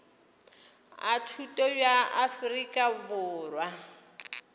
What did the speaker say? a thuto bja afrika borwa